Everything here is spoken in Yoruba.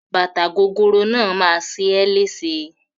Bàtà gogoro náà máa ṣe é léṣe.